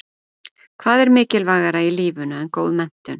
Hvað er mikilvægara í lífinu en góð menntun?